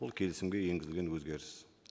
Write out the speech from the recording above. ол келісімге енгізілген өзгеріс